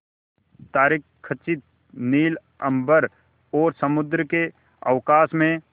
तारकखचित नील अंबर और समुद्र के अवकाश में